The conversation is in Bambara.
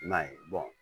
I m'a ye